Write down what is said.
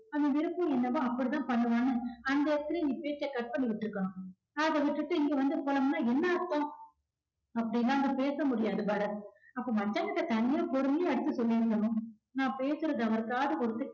அவன் விருப்பம் என்னவோ அப்படித்தான் பண்ணுவான்னு அந்த இடத்துலே நீ பேச்ச cut பண்ணி விட்டுருக்கணும். அத விட்டுட்டு இங்க வந்து பொலம்புனா என்ன அர்த்தம். அப்படிலாம் அங்க பேச முடியாது பரத் அப்ப மச்சான் கிட்ட தனியா பொறுமையா எடுத்து சொல்லி இருக்கணும் நான் பேசுறத அவரு காது கொடுத்து